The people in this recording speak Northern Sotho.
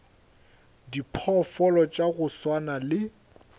diphoofolo tša go swana le